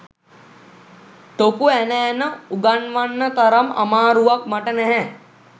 ටොකු ඇන ඇන උගන්වන්න තරම් අමාරුවක් මට නැහැ